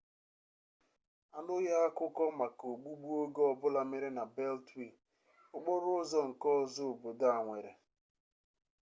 anụghị akụkọ maka ogbugbu oge ọbụla mere na beltwee okporo ụzọ nke ọzọ obodo a nwere